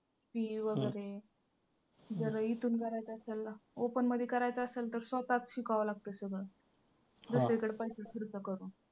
fee वगैरे जर इथून भरायचं असेल open मध्ये करायचं असल तर स्वतःच शिकावं लागतं सगळं दुसरीकडे पैसे खर्च करून